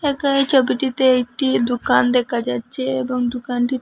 একানে ছবিটিতে একটি দুকান দেকা যাচ্চে এবং দুকানটি--